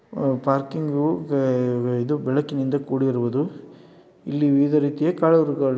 ಆ ಪಾರ್ಕಿಂಗು ಇದು ಬೆಳಕಿನಿಂದ ಕೂಡಿರುವುದು ಇಲ್ಲಿ ವಿವಿಧ ರೀತಿಯ ಕಾರು ಗಳು --